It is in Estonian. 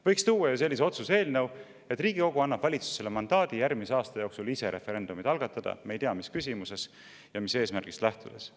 Võiks tuua ju sellise otsuse eelnõu, et Riigikogu annab valitsusele mandaadi järgmise aasta jooksul ise referendumeid algatada, me ei tea, mis küsimuses ja mis eesmärgist lähtudes.